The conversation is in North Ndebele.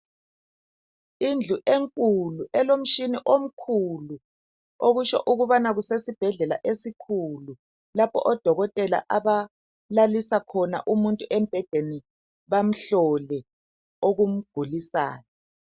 Indlu enkulu, elomtshina omkhulu okutsho ukubana kusesibhedlela esikhulu lapho odokotela abalalisa khona umuntu embhedeni bamhlole okumgulisayo.